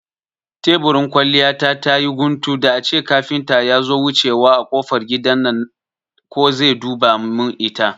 Teburin kwalliya ta tayi guntu, da ace kafinta yazo wucewa a kofar gidan nan ko zai duba mun ita